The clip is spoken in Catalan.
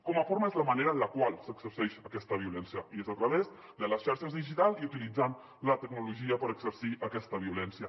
com a forma és la manera en la qual s’exerceix aquesta violència i és a través de les xarxes digitals i utilitzant la tecnologia per exercir aquesta violència